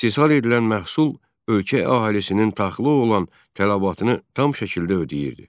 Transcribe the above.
İstehsal edilən məhsul ölkə əhalisinin taxıla olan tələbatını tam şəkildə ödəyirdi.